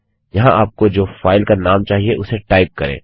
यहाँ आपको जो फाइल का नाम चाहिए उसे टाइप करें